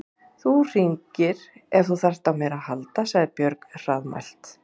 Þú hringir ef þú þarft á mér að halda, sagði Björg hraðmælt.